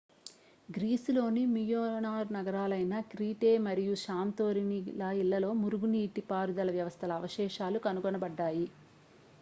గ్రీసులోని Minoan నగరాలైన Crete మరియు Santorini ల ఇళ్ళలో మురుగునీటి పారుదల వ్యవస్థల అవశేషాలు కనుగొనబడ్డాయి